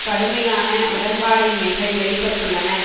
கடுமையான உடன்பாடின்மைகள் வெளிப்பட்டுளன